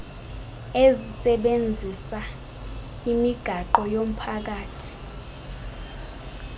ezisebenzisa imigwaqo yomphakathi